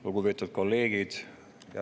Lugupeetud kolleegid!